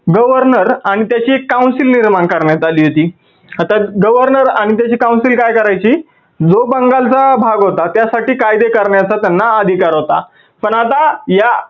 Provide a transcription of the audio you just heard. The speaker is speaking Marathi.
governor आणि त्याची एक council निर्माण करण्यात आली होती. आता governor आणि त्याची council काय करायची जो बंगाल चा भाग होता त्यासाठी कायदे करण्याचा त्यांना अधिकार होता पण आता या